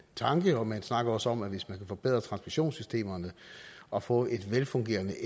tanke og man snakker også om at hvis man kan forbedre transmissionssystemerne og få et velfungerende